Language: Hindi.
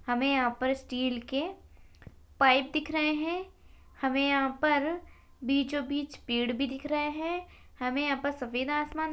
हमें यहां पर स्टील के पाइप दिख रहे है हमें यहां पर बीचो-बीच पेड़ भी दिख रहे है हमें यहां पर सफ़ेद आसमान--